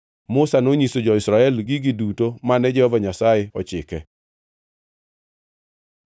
Musa nonyiso jo-Israel gigo duto mane Jehova Nyasaye ochike.